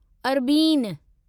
अरबीन